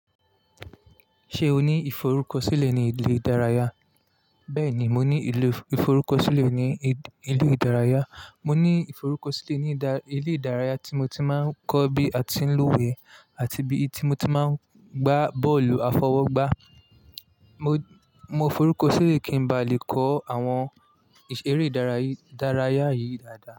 Ṣé o ní ìforúkọ sílè ní ilé ìdárayá? Bẹ́ẹ̀ni, mo ní ìforúkọ sílè ní ilé ìdárayá. Mo ní ìforúkọ sílè ní ilé ìdárayá tí mo ti máa ń kọ́ bí a ti ń lúwẹ̀ẹ́ àti bí tí mo ti máa ń gbá bọ́ọ̀lù àfọwọ́gbá. Mo, mo forúkọ sílè kí n ba lè kọ́ àwọn eré ìdárayá yìí dáadáa.